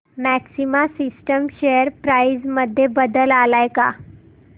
maxima Systems share price मध्ये बदल आलाय का